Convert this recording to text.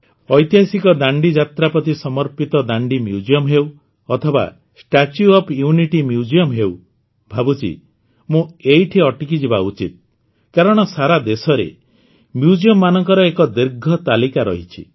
ଐତିହାସିକ ଦାଣ୍ଡିଯାତ୍ରା ପ୍ରତି ସମର୍ପିତ ଦାଣ୍ଡି ମ୍ୟୁଜିୟମ ହେଉ ଅଥବା ଷ୍ଟାଚ୍ୟୁ ଓଏଫ୍ ୟୁନିଟି ମ୍ୟୁଜିୟମ ହେଉ ଭାବୁଛି ମୁଁ ଏଇଠି ଅଟକିଯିବା ଉଚିତ କାରଣ ସାରାଦେଶରେ ମ୍ୟୁଜିୟମମାନଙ୍କର ଏକ ଦୀର୍ଘ ତାଲିକା ଅଛି